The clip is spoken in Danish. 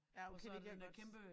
Ja okay det kan jeg godt